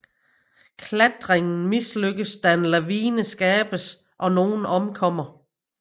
Klattringen mislykkeds da en lavine skabes og nogen omkommer